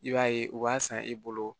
I b'a ye u b'a san e bolo